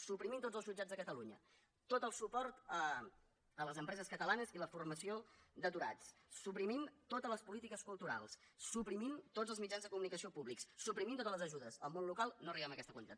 suprimint tots els jutjats de catalunya tot el suport a les empreses catalanes i la formació d’aturats suprimint totes les polítiques culturals suprimint tots els mitjans de comunicació públics suprimint totes les ajudes al món local no arribem a aquesta quantitat